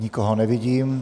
Nikoho nevidím.